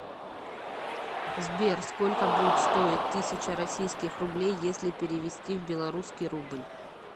сбер сколько будет стоить тысяча российских рублей если перевести в белорусский рубль